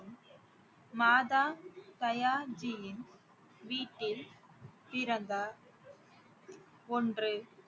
மாதா தயாஜீயின் வீட்டில் பிறந்தார் ஒன்று